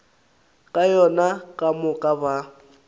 ka yona ka moka ba